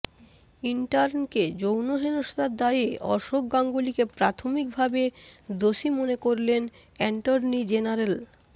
ইন্টার্নকে যৌন হেনস্থার দায়ে অশোক গাঙ্গুলিকে প্রাথমিকভাবে দোষী মনে করলেন অ্যান্টর্নি জেনারেল